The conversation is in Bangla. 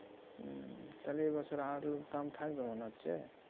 হম তাহলে এ বছর আলুর দাম থাকবে মনে হচ্ছে?